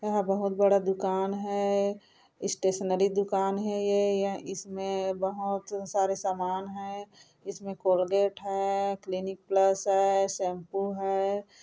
यहाँ बहुत बड़ा दुकान है स्टेशनरी दुकान है यह इसमें बहोत सारे सामान है इसमें कोलगेट हैं क्लिनिक प्लस है शैंपू है ।